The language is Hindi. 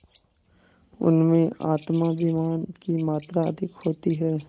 उनमें आत्माभिमान की मात्रा अधिक होती है